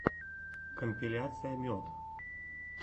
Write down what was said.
компиляция мед